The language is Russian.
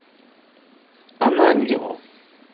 ананьеву